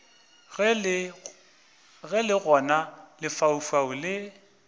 ge le gona lefaufau le